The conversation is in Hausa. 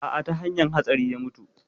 A'a ta hanyan hatsari ya mutu